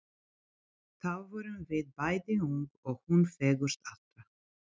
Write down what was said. Þá vorum við bæði ung og hún fegurst allra.